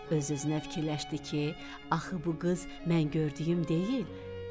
Öz-özünə fikirləşdi ki, axı bu qız mən gördüyüm deyil.